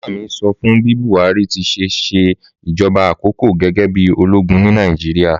Màmá mi sọ fun bi Buhari ti se ṣe ìjoba àkoko gẹ́gẹ́ bí ológun ni Nàíjíríà